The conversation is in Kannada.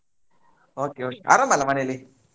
Okay okay ಆರಾಮ್ ಅಲ್ಲಾ ಮನೇಲಿ?